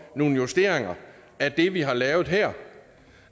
nogle justeringer af det vi har lavet her